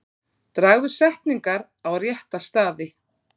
Dragðu setningar á rétta staði.